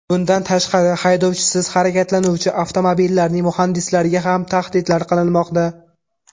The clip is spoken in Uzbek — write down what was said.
Bundan tashqari haydovchisiz harakatlanuvchi avtomobillarning muhandislariga ham tahdidlar qilinmoqda.